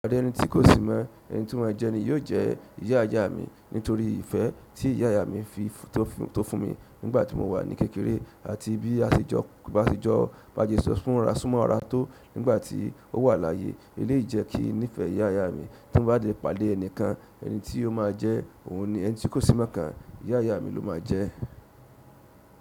Pàdé ẹni tí kò si mọ́ ẹni tí wọn jẹ ni yóò jẹ́ ìyá ìyá mi nítorí ìfẹ́ tí ìyá ìyá mi fi tó fún mi nígbà tí mo wà ní kékeré àti bí asejọ basejọ súnmọ́ ara tó nígbà tí ó wà láyé eléyìí jẹ́ kí n nífẹ̀ẹ́ ìyá ìyá mi tí mo bá pàdé ẹnìkan ẹni tí ó máa jẹ́ òun ni ẹni tí kò si mọ́ kan ìyá ìyá mi ló máa jẹ́.